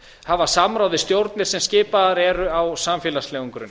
hafa samráð við stjórnir sem skipaðar eru á samfélagslegum grunni